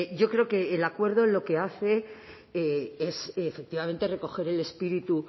yo creo que el acuerdo lo que hace es efectivamente recoger el espíritu